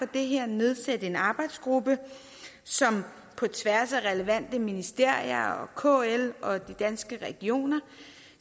det her og nedsætte en arbejdsgruppe som på tværs af relevante ministerier kl og danske regioner